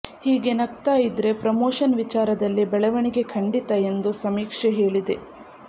ಹೀಗೆ ನಗ್ತಾ ಇದ್ರೆ ಪ್ರಮೋಷನ್ ವಿಚಾರದಲ್ಲಿ ಬೆಳವಣಿಗೆ ಖಂಡಿತ ಎಂದು ಸಮೀಕ್ಷೆ ಹೇಳಿದೆ